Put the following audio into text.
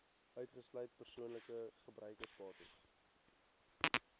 uitgesluit persoonlike gebruiksbates